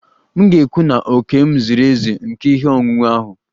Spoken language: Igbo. M ga-ekwu na òkè m ziri ezi nke ihe onwunwe ahụ